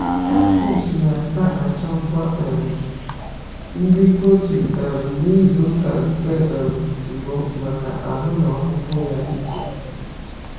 Katfish na aka achọ ngwa um nri protein um na izụka nke um mbu maka ahụ na ọkpụkpụ ya ịto